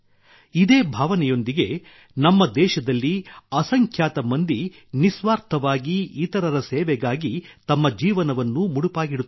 ಇದೇ ಭಾವನೆಯೊಂದಿಗೆ ನಮ್ಮ ದೇಶದಲ್ಲಿ ಅಸಂಖ್ಯಾತ ಮಂದಿ ನಿಸ್ವಾರ್ಥವಾಗಿ ಇತರರ ಸೇವೆಗಾಗಿ ತಮ್ಮ ಜೀವನವನ್ನು ಮುಡಿಪಾಗಿಡುತ್ತಾರೆ